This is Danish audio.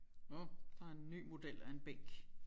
Nåh der er en ny model af en bænk